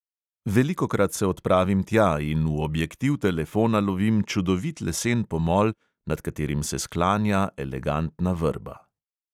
Velikokrat se odpravim tja in v objektiv telefona lovim čudovit lesen pomol, nad katerim se sklanja elegantna vrba.